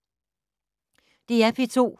DR P2